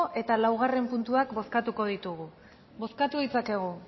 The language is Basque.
eta lau puntuak bozkatuko ditugu bozkatu ditzakegu